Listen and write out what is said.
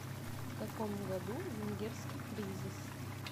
в каком году венгерский кризис